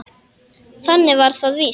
Þannig var það víst.